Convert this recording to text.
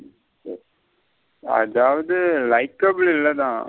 அதாவது likable இல்லன.